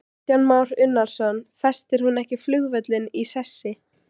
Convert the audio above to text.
Kristján Már Unnarsson: Festir hún ekki flugvöllinn í sessi?